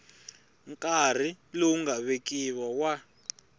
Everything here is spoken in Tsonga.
nkarhi lowu nga vekiwa wa